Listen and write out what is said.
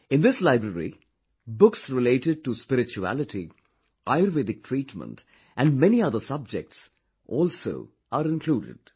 In this library, books related to spirituality, ayurvedic treatment and many other subjects also are included